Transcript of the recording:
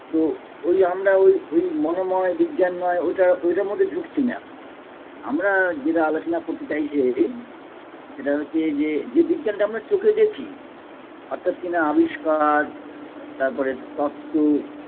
তো ঐ আমরা ঐ ঐ মনোময় বিজ্ঞানময় ঐটা ঐটার মধ্যে ঝুঁকছিনা এখন আমরা যেটা আলোচনা করতে চাইছি যে সেটা হচ্ছে যে যে বিজ্ঞানটা আমরা চোখে দেখি অর্থাৎ কিনা আবিষ্কার তারপরে তত্ত্ব